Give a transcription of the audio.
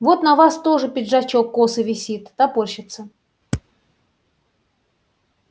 вот на вас тоже пиджачок косо висит топорщится